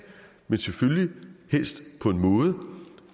men selvfølgelig helst på en måde